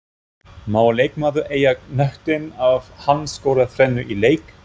Má leikmaður eiga knöttinn ef hann skorar þrennu í leik?